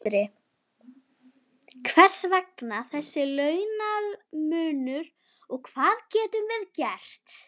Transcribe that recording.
Sindri: Hvers vegna þessi launamunur og hvað getum við gert?